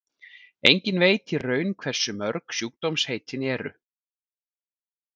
enginn veit í raun hversu mörg sjúkdómaheitin eru